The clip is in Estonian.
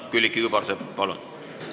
Külliki Kübarsepp, palun!